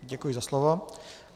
Děkuji za slovo.